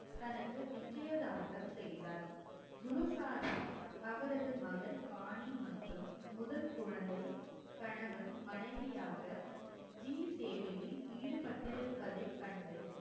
தனக்கு நிச்சயதார்த்தம் செய்தார் குரு சாஹிப் அவரது மகள் பாணி மற்றும் முதல் குழந்தை கணவன் மனைவியாக சேவையில் ஈடுபட்டிருப்பதை கண்டு